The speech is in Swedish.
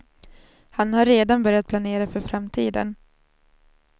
Han har redan börjat planera för framtiden.